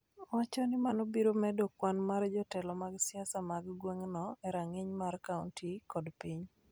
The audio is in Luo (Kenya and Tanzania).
wacho ni mano biro medo kwan mar jotelo mag siasa mag gweng'no e rang'iny mar kaonti kod piny